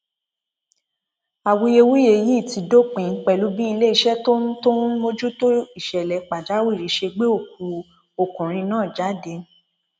awuyewuye yìí ti dópin pẹlú bí iléeṣẹ tó ń tó ń mójútó ìṣẹlẹ pàjáwìrì ṣe gbé òkú ọkùnrin náà jáde